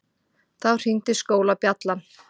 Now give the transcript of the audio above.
Þá hringdi skólabjallan.